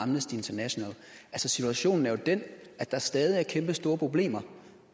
amnesty international situationen er jo den at der stadig er kæmpestore problemer